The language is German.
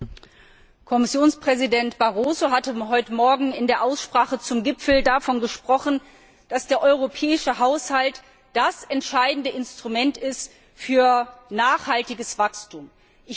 Frau Präsidentin! Kommissionspräsident Barroso hatte heute morgen in der Aussprache zum Gipfel davon gesprochen, dass der europäische Haushalt das entscheidende Instrument für nachhaltiges Wachstum ist.